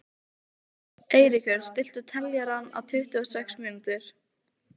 Eiríkur, stilltu niðurteljara á tuttugu og sex mínútur.